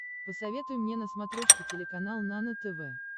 посоветуй мне на смотрешке телеканал нано тв